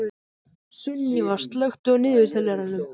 Sunníva, slökktu á niðurteljaranum.